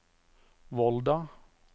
Volda